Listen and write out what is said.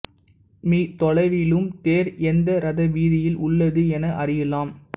me தொலைவிலும் தேர் எந்த ரதவீதியில் உள்ளது என அறியலாம்